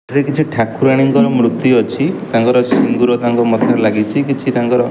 ଏଥିରେ କିଛି ଠାକୁରାଣୀଙ୍କର ମୂର୍ତ୍ତି ଅଛି ତାଙ୍କର ସିନ୍ଦୂର ତାଙ୍କ ମଥାରେ ଲାଗିଛି କିଛି ତାଙ୍କର--